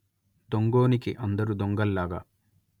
దొంగోనికి అందరు దొంగల్లాగా